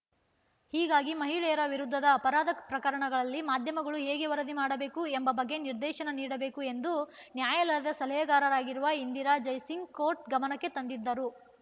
ಹೀಗಾಗಿ ಮಹಿಳೆಯರ ವಿರುದ್ಧದ ಅಪರಾಧ ಪ್ರಕರಣಗಳಲ್ಲಿ ಮಾಧ್ಯಮಗಳು ಹೇಗೆ ವರದಿ ಮಾಡಬೇಕು ಎಂಬ ಬಗ್ಗೆ ನಿರ್ದೇಶನ ನೀಡಬೇಕು ಎಂದು ನ್ಯಾಯಾಲಯದ ಸಲಹೆಗಾರರಾಗಿರುವ ಇಂದಿರಾ ಜೈ ಸಿಂಗ್‌ ಕೋರ್ಟ್‌ ಗಮನಕ್ಕೆ ತಂದಿದ್ದರು